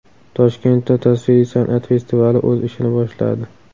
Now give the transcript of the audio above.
Toshkentda tasviriy san’at festivali o‘z ishini boshladi .